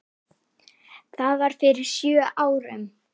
Það var fyrir sjö árum.